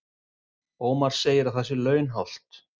Ómar segir að það sé launhált